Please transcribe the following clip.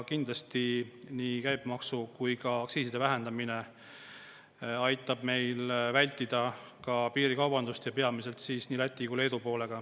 Kindlasti nii käibemaksu kui ka aktsiiside vähendamine aitab meil vältida piirikaubandust ja peamiselt siis nii Läti kui Leedu poolega.